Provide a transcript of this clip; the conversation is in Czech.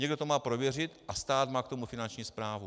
Někdo to má prověřit a stát má k tomu Finanční správu.